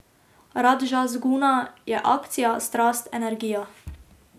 Radžas guna je akcija, strast, energija.